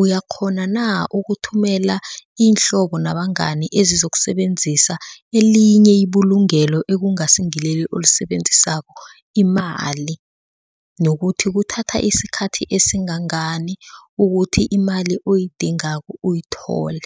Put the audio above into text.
uyakghona na ukuthumela iinhlobo nabangani ezizokusebenzisa elinye ibulungelo ekungasingileli olisebenzisako imali nokuthi kuthatha isikhathi esingangani ukuthi imali oyidingako uyithole.